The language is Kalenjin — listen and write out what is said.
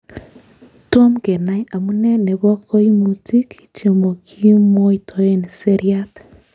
Tom kenai amune nebo koimutik chemokimwoitoen seriat.